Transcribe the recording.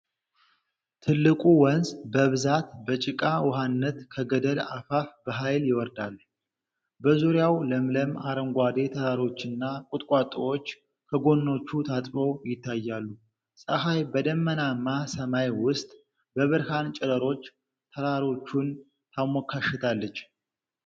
ትልቁ ወንዝ በብዛት በጭቃ ውሀነት ከገደል አፋፍ በኃይል ይወርዳል። በዙሪያው ለምለም አረንጓዴ ተራሮችና ቁጥቋጦዎች ከጎኖቹ ታጥበው ይታያሉ። ፀሐይ በደመናማ ሰማይ ውስጥ በብርሃን ጨረሮች ተራሮቹን ታሞካሽታለች።